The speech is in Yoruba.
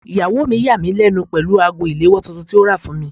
Ìyàwó mi yà mí lẹ́nu pẹ̀lú ago ìléwọ́ tuntun tí ó rà fún mi.